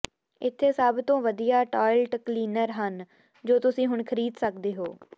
ਇੱਥੇ ਸਭ ਤੋਂ ਵਧੀਆ ਟਾਇਲਟ ਕਲੀਨਰ ਹਨ ਜੋ ਤੁਸੀਂ ਹੁਣ ਖਰੀਦ ਸਕਦੇ ਹੋ